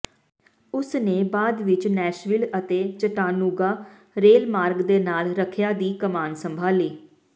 ਉਸ ਨੇ ਬਾਅਦ ਵਿਚ ਨੈਸ਼ਵਿਲ ਅਤੇ ਚਟਾਨੂਗਾ ਰੇਲਮਾਰਗ ਦੇ ਨਾਲ ਰੱਖਿਆ ਦੀ ਕਮਾਨ ਸੰਭਾਲੀ